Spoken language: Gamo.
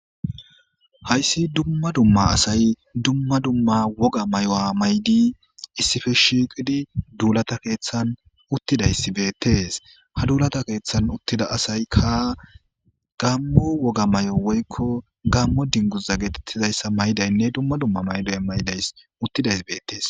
hayssi dumma dumma asay dumma dumma woga may7uwa may7di issife shiiqidi duulata keeththan uttidays betees ha duulata keeththan uttida asay ka gammo woga may7o woykko gammo dinguza getettizayssa maydaynne dumma dumma mayday maydays uttidays beettees